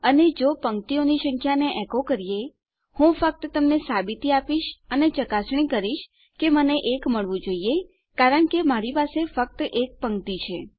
અને જો આપણે પંક્તિઓની સંખ્યાને એકો કરીએ હું ફક્ત તમને સાબિતી આપીશ અને ચકાસણી કરીશ કે મને 1 મળવું જોઈએ કારણ કે આપણી પાસે ફક્ત 1 પંક્તિ છે